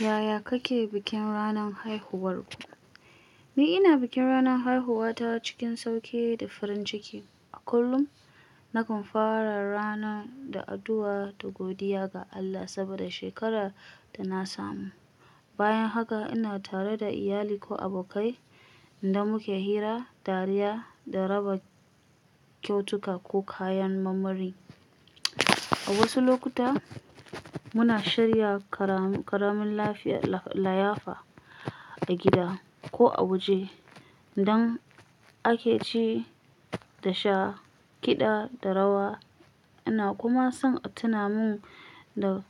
Yaya kake bikin ranar haihuwarka? Ni ina bikin ranar haihuwata cikin sauƙi da farin ciki. A kullum, nakan fara rana da addu'a da godiya ga Allah saboda shekarar da na samu. Bayan haka, ina tare da iyalina ko abokai, inda muke hira, dariya, da raba kyautuka ko kayan marmari. A wasu lokuta, muna shirya ƙaramin layafa a gida ko a waje, idan ake ci da sha, kiɗa da rawa. Ina kuma son a tuna min da